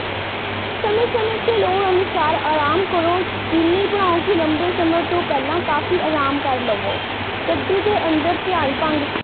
ਸਮੇਂ ਸਮੇਂ ਤੇ ਲੋੜ ਅਨੁਸਾਰ ਆਰਾਮ ਕਰੋ ਸ਼ੁਕੀਨੀ ਬਣਾਓ ਕਿ ਲੰਬੇ ਸਮੇਂ ਤੋਂ ਪਹਿਲਾਂ ਕਾਫ਼ੀ ਆਰਾਮ ਕਰ ਲਵੋ ਗੱਡੀ ਦੇ ਅੰਦਰ ਧਿਆਨ